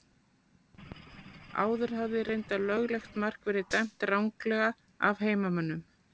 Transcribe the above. Áður hafði reyndar löglegt mark verið dæmt ranglega af heimamönnum.